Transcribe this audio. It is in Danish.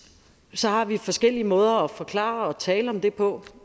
så har vi forskellige måder at forklare og tale om det på